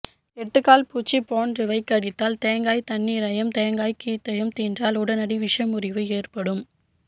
எட்டுகால் பூச்சி போன்றவை கடித்தால் தேங்காய் தண்ணீரையும் தேங்காய்கீத்தையும் தின்றால் உடனடி விசமுறிவு ஏற்படும்